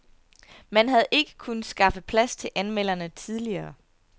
Man havde ikke kunnet skaffe plads til anmelderne tidligere.